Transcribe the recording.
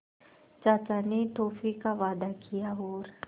चाचा ने टॉफ़ी का वादा किया और